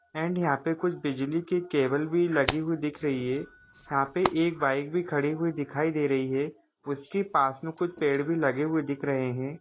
And यहा पे कुछ बिजली के केबल भी लगी हुई दिख रही है यहा पे एक बाइक भी खड़ी हुई दिखाई दे रही है उसके पास मे कुछ पेड़ भी लगे हुए दिख रहे है।